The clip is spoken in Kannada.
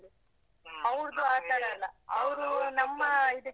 .